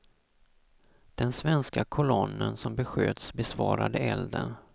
Den svenska kolonnen som besköts besvarade elden.